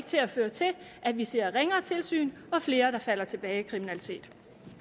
til at føre til at vi ser ringere tilsyn og flere der falder tilbage i kriminalitet